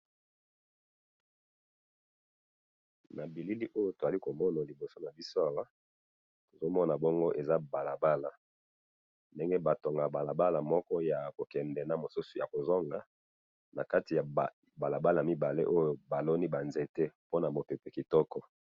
na bilili oyo tozali komona liboso na biso awa tozali komona bongo ezali balabala ndenge batongaka balaba moko ya kokende na mosusu ya kozonga na kati ya balabala baloni ba nzete pona mu pepe kitoko.